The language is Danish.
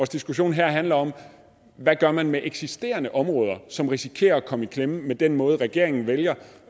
diskussion her handler om hvad man gør med eksisterende områder som risikerer at komme i klemme med den måde som regeringen vælger